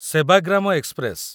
Sevagram express